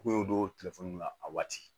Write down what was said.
K'u y'o don telefɔni na a waati